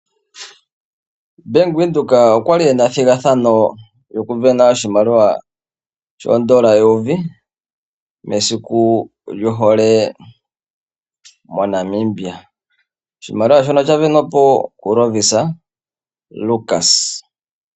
Bank Windhoek okwali ena ethigathano lyokusindana oshimaliwa shoodola eyovi mesiku lyohole moNamibia. Oshimaliwa shono oshasindanwa po kuLovisa Lukas.